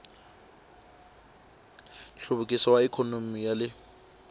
nhluvukiso wa ikhonomi ya le